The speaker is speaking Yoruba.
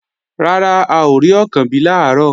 Rárá, a ò rí Ọ̀kànbí làárọ̀